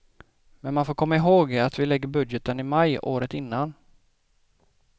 Men man får komma ihåg att vi lägger budgeten i maj året innan.